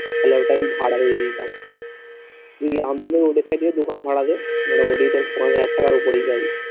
ওই ওটা আমি ভাড়া দিয়ে দিতাম দোকান ভাড়া দেয় মোটামুটি তোর পনেরো হাজার টাকার ওপরেই পাবি